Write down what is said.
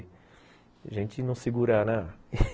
A gente não segura, né?